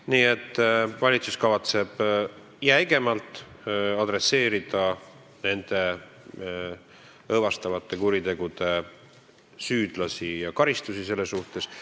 Nii et valitsus kavatseb jäigemalt midagi ette võtta nende õõvastavate kuritegude süüdlastega ja karistustega nende suhtes.